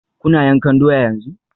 Kuna yankan doya yanzu?